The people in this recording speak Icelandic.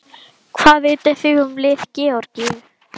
Hvað vitið þið um lið Georgíu?